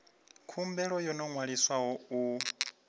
khumbelo yo no ṅwaliswaho u